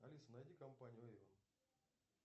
алиса найди компанию эйвон